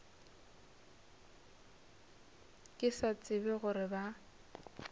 ke sa tsebe gore ba